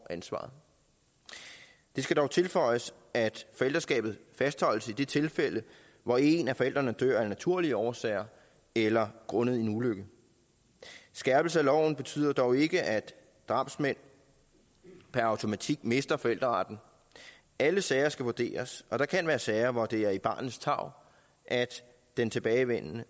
ansvaret det skal dog tilføjes at forældreskabet fastholdes i det tilfælde hvor en af forældrene dør af naturlige årsager eller grundet en ulykke skærpelsen af loven betyder dog ikke at drabsmænd per automatik mister forældreretten alle sager skal vurderes og der kan være sager hvor det er i barnets tarv at den tilbageværende